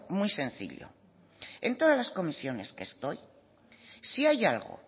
muy sencillo en todas las comisiones que estoy si hay algo